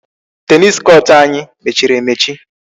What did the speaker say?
Tennis court anyị mechiri emechi.